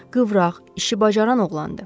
Qıvraq, işi bacaran oğlandır.